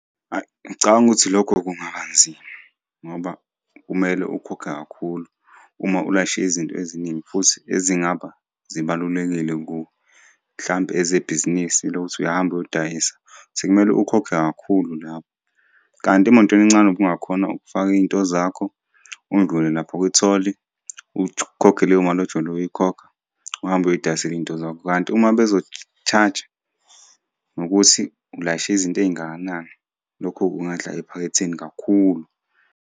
Hhayi, ngicabanga ukuthi lokho kungaba nzima, ngoba kumele ukhokhe kakhulu uma ulayishe izinto eziningi futhi ezingaba zibalulekile kuwe. Hlampe ezebhizinisi lokuthi uyahamba uyodayisa, sekumele ukhokhe kakhulu lapho kanti emotweni encane ubungakhona ukufaka iy'nto zakho, undlule lapha kwi-toll ukhokhe leyo mali ojwayele ukuyikhokha. Uhambe uyoy'dayisela iy'nto zakho, kanti uma bezo-charge-a, ngokuthi ulayishe izinto ey'ngakanani, lokho kungadla ephaketheni kakhulu.